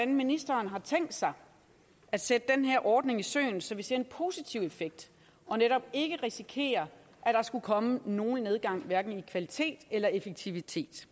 ministeren har tænkt sig at sætte den her ordning i søen så vi ser en positiv effekt og netop ikke risikerer at der skulle komme nogen nedgang i hverken kvalitet eller effektivitet